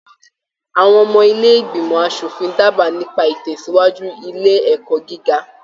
Àwọn ọmọ ilé ìgbìmọ̀ aṣòfin daba nípa itẹsiwaju ilé ẹ̀kọ́ gíga.